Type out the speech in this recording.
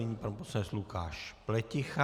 Nyní pan poslanec Lukáš Pleticha.